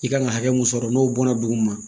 I kan ka hakɛ mun sɔrɔ n'o bɔnna duguma